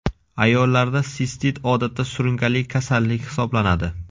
Ayollarda sistit odatda surunkali kasallik hisoblanadi.